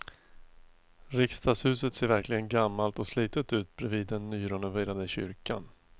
Riksdagshuset ser verkligen gammalt och slitet ut bredvid den nyrenoverade kyrkan.